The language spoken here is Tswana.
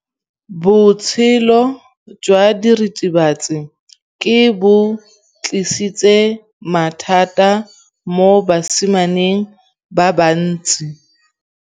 Botshelo jwa diritibatsi ke bo tlisitse mathata mo basimaneng ba bantsi.